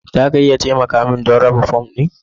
Za ku iya taimaka don raba fom ɗin